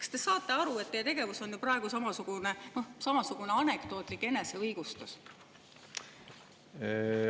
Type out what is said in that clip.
" Kas te saate aru, et teie tegevus on praegu samasugune anekdootlik eneseõigustus?